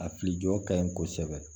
A fili jɔ ka ɲi kosɛbɛ